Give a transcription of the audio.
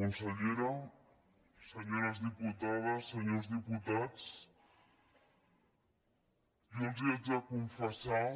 consellera senyores diputades senyors diputats jo els haig de confessar